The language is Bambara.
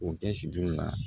O kɛ sidon la